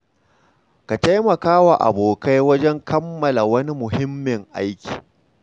Ka taimaka wa abokai wajen kammala wani muhimmin aiki.